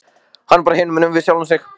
Hann er bara hinumegin við sjálfan sig.